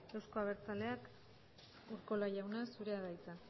euzko abertzaleak urkola jauna zurea da hitza